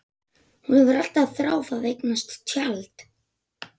Hún hefur alltaf þráð að eignast tjald.